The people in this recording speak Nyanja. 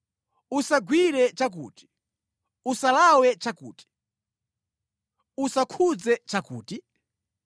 “Usagwire chakuti,” “Usalawe chakuti,” “Usakhudze chakuti?”